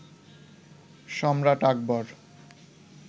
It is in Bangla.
সম্রাট আকবর